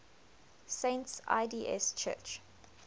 saints lds church